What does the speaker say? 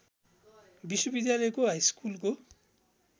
विश्वविद्यालयको हाइस्कुलको